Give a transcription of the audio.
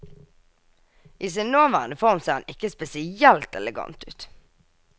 I sin nåværende form ser han ikke spesielt elegant ut.